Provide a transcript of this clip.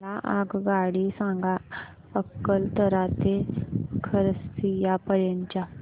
मला आगगाडी सांगा अकलतरा ते खरसिया पर्यंत च्या